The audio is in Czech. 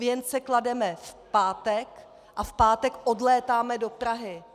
Věnce klademe v pátek a v pátek odlétáme do Prahy.